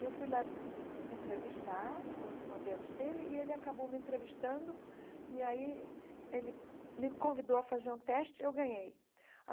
E eu fui lá entrevistar os modelos dele e ele acabou me entrevistando e aí ele me convidou a fazer um teste e eu ganhei.